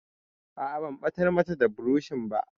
A'a, ban ɓatar mata da burushin ba.